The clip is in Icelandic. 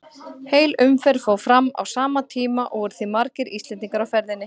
Heil umferð fór fram á sama tíma og voru því margir Íslendingar á ferðinni.